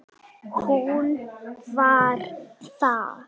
Hún var það.